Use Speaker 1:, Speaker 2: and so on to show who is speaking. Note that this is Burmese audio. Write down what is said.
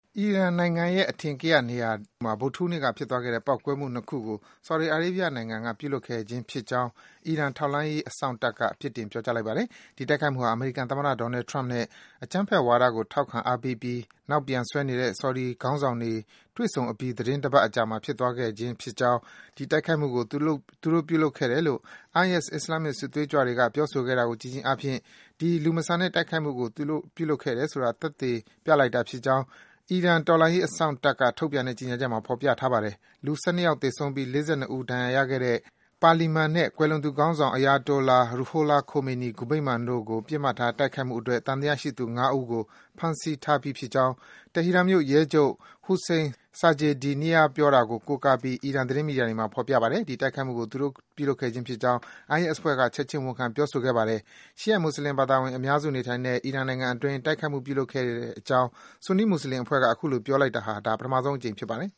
Speaker 1: အီရန်နိုင်ငံရဲ့ အထင်ကရ နေရာတခုမှာ ဗုဒ္ဓဟူးနေ့က ဖြစ်သွားခဲ့တဲ့ ပေါက်ကွဲမှု ၂ ခုကို ဆော်ဒီအာရေးဗျ နိုင်ငံက ပြုလုပ်ခဲ့ခြင်း ဖြစ်ကြောင်း အီရန် တော်လှန်ရေးအစောင့်တပ်က ပြစ်တင် ပြောကြားလိုက်ပါတယ်။ ဒီတိုက်ခိုက်မှုဟာ အမေရိကန်သမ္မတ Donald Trump နဲ့ အကြမ်းဖက်ဝါဒကို ထောက်ခံ အားပေးပြီး နောက်ပြန်ဆွဲနေတဲ့ ဆော်ဒီ ခေါင်းဆောင်တွေ တွေ့ဆုံအပြီး သီတင်းတပတ်အကြာမှာ ဖြစ်သွားခဲ့ခြင်း ဖြစ်ကြောင်း၊ ဒီတိုက်ခိုက်မှုကို သူတို့ ပြုလုပ်ခဲ့တယ်လို့ IS အစ္စလာမ္မစ် စစ်သွေးကြွတွေက ပြောဆိုခဲ့တာကို ကြည့်ခြင်းအားဖြင့် ဒီ လူမဆန်တဲ့ တိုက်ခိုက်မှုကို သူတို့ ပြုလုပ်ခဲ့တယ်ဆိုတာ သက်သေ ပြလိုက်တာဖြစ်ကြောင်း အီရန် တော်လှန်ရေး အစောင့်တပ်က ထုတ်ပြန်တဲ့ ကြေညာချက်မှာ ဖော်ပြထားပါတယ်။ လူ ၁၂ ယောက်သေဆုံးပြီး ၄၂ ယောက် ဒဏ်ရာရရှိခဲ့တဲ့ ပါလီမန်နဲ့ ကွယ်လွန်သူ ခေါင်းဆောင် Ayatollah Ruhollah Khomeini ဂူဗိမ္မာန်တို့ကို ပစ်မှတ်ထား တိုက်ခိုက်မှုအတွက် သံသယရှိသူ ၅ ဦးကို ဖမ်းဆီးထားပြီးဖြစ်ကြောင်း တီဟီရန်မြို့ ရဲချုပ် Hossein Sajedinia ပြောတာကို ကိုးကားပြီး အီရန် သတင်းမီဒီယာတွေမှာ ဖော်ပြထားပါတယ်။ ဒီတိုက်ခိုက်မှုကို သူတို့ ပြုလုပ်ခဲ့ခြင်း ဖြစ်ကြောင်း IS အဖွဲ့က ချက်ခြင်း ဝန်ခံ ပြောကြားခဲ့ပါတယ်။ ရှီယိုက် မွတ်ဆလင်ဘာသာဝင် အများစု နေထိုင်တဲ့ အီရန်နိုင်ငံအတွင်း တိုက်ခိုက်မှု ပြုလုပ်ခဲ့ကြောင်း ဆူနီး မွတ်ဆလင် အဖွဲ့က အခုလို ပြောဆိုလိုက်တာ ဒါ ပထမဆုံး အကြိမ် ဖြစ်ပါတယ်